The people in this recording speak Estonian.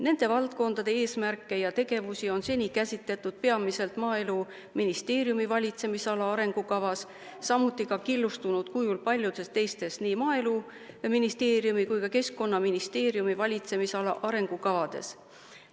Nende valdkondade eesmärke ja tegevusi on seni käsitletud peamiselt Maaeluministeeriumi valitsemisala arengukavas, samuti killustunud kujul paljudes teistes nii Maaeluministeeriumi kui ka Keskkonnaministeeriumi valitsemisala arengukavades.